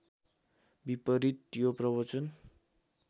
विपरीत यो प्रवचन